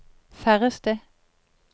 færreste